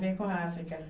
Tem com a África.